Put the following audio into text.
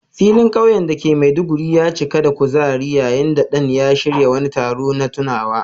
Filin kauye da ke Maiduguri ya cika da kuzari yayin da Dan ya shirya wani taro na tunawa.